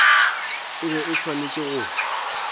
e be e swanetše go